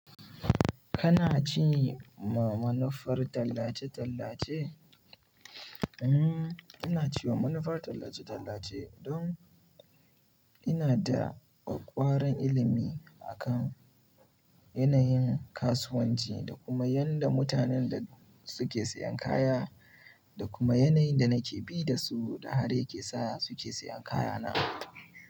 Kana ci manufar tallace-tallace? Hmm, ina ci manufar tallace-tallace don ina da ƙwaƙƙwaran ilimi a kan yanayin kasuwanci da kuma yanda mutanen da suke siyan kaya da kuma yanayin da nake bi da su da haka yake sa suke siyan kaya na.